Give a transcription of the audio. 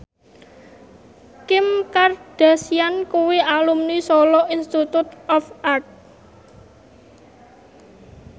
Kim Kardashian kuwi alumni Solo Institute of Art